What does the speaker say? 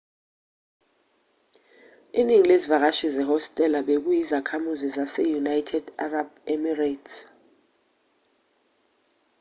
iningi lezivakashi zehostela bekuyizakhamuzi zase-united arab emirates